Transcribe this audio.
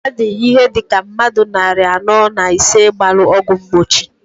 Ha di ihe dika mmadu nnarị anọọ na isii gbalụ ọgwụ mgbochi.